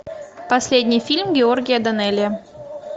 последний фильм георгия данелия